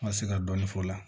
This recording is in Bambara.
N ka se ka dɔɔnin fɔ o la